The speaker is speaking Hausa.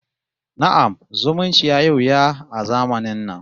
Na'am, zumunci yayi wuya a zamanin na